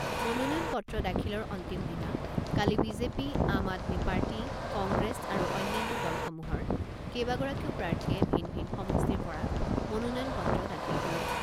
মনোনয়ন পত্ৰ দাখিলৰ অন্তিম দিনা কালি BJP, Aam Aadmi party, Congress আৰু অন্যান্য দলসমূহৰ কেইবাগৰাকীও প্ৰাৰ্থীয়ে ভিন ভিন সমষ্টিৰ পৰা মনোনয়ন পত্ৰ দাখিল কৰে।